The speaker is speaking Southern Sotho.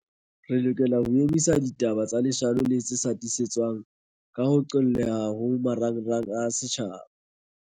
Re lokela ho emisa ho hasa ditaba tsa leshano le tse sa tiisetswang, ka ho qolleha ho marangrang a setjhaba.